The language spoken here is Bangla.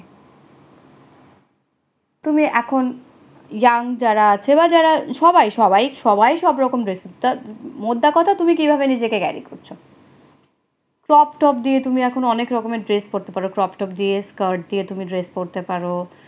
তুমি এখন young জারা সবাই সবাই সবাই সব রকম dresses টা মোদ্দাকথা তুমি কিভাবে নিজেকে গাড়ি করছো, crop top দিয়ে তুমি এখন অনেক রকমের dress পড়তে পারে crop top দিয়ে skirt দিয়ে skirt পড়তে পারো